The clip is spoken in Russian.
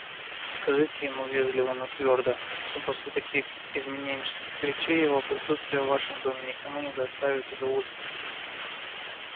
скажите ему вежливо но твёрдо что после таких изменнических речей его присутствие в вашем доме никому не доставит удовольствия